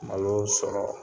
Maloo sɔrɔ